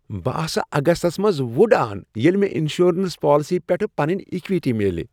بہٕ آسہٕ اگستس منٛز وٕڑان ییٚلہ مےٚ انشورنس پالیسی پیٹھ پنٕنۍ اِکوِٹی میلہِ۔